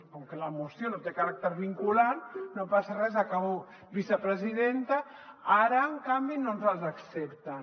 com que la moció no té caràcter vinculant no passa res acabo vicepresidenta ara en canvi no ens les accepten